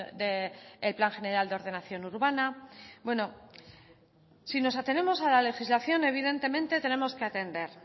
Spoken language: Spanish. del plan general de ordenación urbana bueno si nos atenemos a la legislación evidentemente tenemos que atender